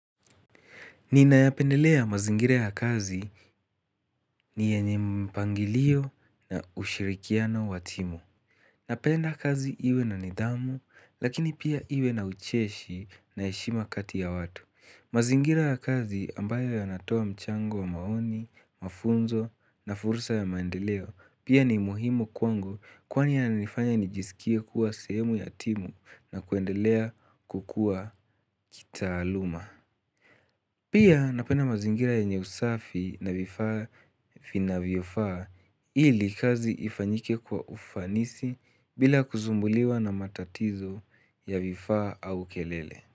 Ninayapendelea mazingira ya kazi ni yenye mpangilio na ushirikiano wa timu. Napenda kazi iwe na nidhamu, lakini pia iwe na ucheshi na heshima kati ya watu. Mazingira ya kazi ambayo yanatoa mchango wa maoni, mafunzo na fursa ya maendeleo pia ni muhimu kwangu kwani yanifanya nijisikie kuwa sehemu ya timu na kuendelea kukuwa kitaaluma. Pia napenda mazingira yenye usafi na vifaa vinavyofaa ili kazi ifanyike kwa ufanisi bila kusumbuliwa na matatizo ya vifaa au kelele.